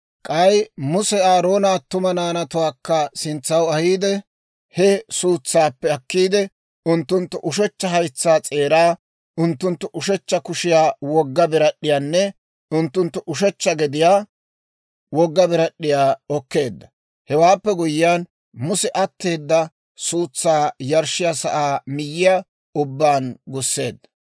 K'ay Muse Aaroona attuma naanatuwaakka sintsaw ahiide, he suutsaappe akkiide, unttunttu ushechcha haytsaa s'eeraa, unttunttu ushechcha kushiyaa wogga birad'd'iyaanne unttunttu ushechcha gediyaa wogga birad'd'iyaa okkeedda. Hewaappe guyyiyaan, Muse atteeda suutsaa yarshshiyaa sa'aa miyyiyaa ubbaan gusseedda.